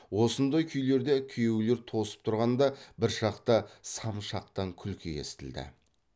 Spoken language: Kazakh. осындай күйлерде күйеулер тосып тұрғанда бір шақта сам жақтан күлкі естілді